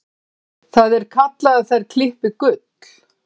Það er kallað að þær klippi gull.